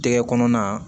Tɛgɛ kɔnɔna